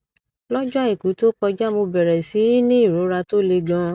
lọjọ àìkú tó kọjá mo bẹrẹ sí í ní ìrora tó le ganan